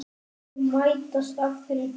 Liðin mætast aftur í dag.